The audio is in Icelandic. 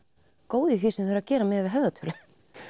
góð í því sem þið eruð að gera miðað við höfðatölu